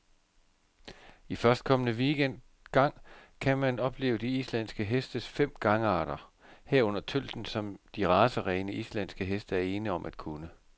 I førstkommende weekend gang kan man opleve de islandske hestes fem gangarter, herunder tølten, som de racerene, islandske heste er ene om at kunne.